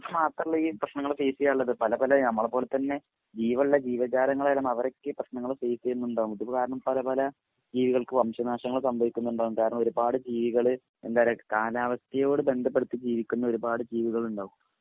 നമക് മാത്രല്ല ഈ പ്രശ്നങ്ങൾ ഫേസ് ചെയ്യാനുള്ളദ് പല പല നമ്മളെ പോല തന്നെ ജീവള്ള ജീവജാലങ്ങളെല്ലാം അവരൊക്കെ ഈ പ്രശ്നങ്ങൾ ഫേസ് ചെയ്യുന്നുണ്ടാവും ഇത്പോ കാരണം പല പല ജീവികൾക് വംശ നാശങ്ങൾ സംഭവിക്കുന്നുണ്ടാവും കാരണം ഒരുപാട് ജീവികൾ എന്താപറയാ കാലാവസ്ഥയോട് ബന്ധപെടുത്തി ജീവിക്കുന്ന ഒരുപാട് ജീവികൾണ്ടാവും